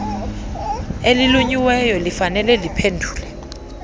elinyuliweyo elifanele liphendule